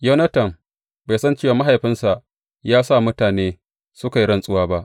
Yonatan bai san cewa mahaifinsa ya sa mutane suka yi rantsuwa ba.